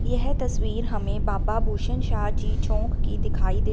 यह तस्वीर हमें बाबा भूषण शाह जी चौक की दिखाई दे--